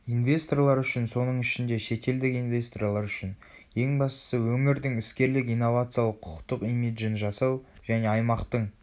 инвесторлар үшін соның ішінде шетелдік инвесторлар үшін ең бастысы өңірдің іскерлік инновациялық құқықтық имиджін жасау және аймақтың